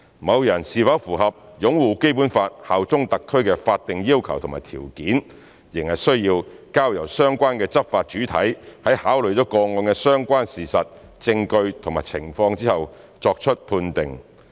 某人是否符合"擁護《基本法》、效忠香港特區"的法定要求和條件，仍須交由相關的執法主體在考慮了個案的相關事實、證據和情況後作出判定。